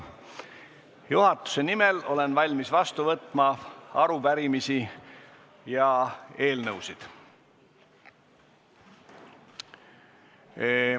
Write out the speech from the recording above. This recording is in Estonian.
Juhatuse nimel olen valmis vastu võtma arupärimisi ja eelnõusid.